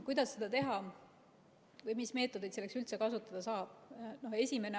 Kuidas seda teha või mis meetodeid selleks üldse kasutada saab?